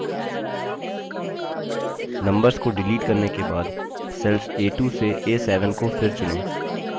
numbers को delete करने के बाद cells a2 to a7 को फिर चुनें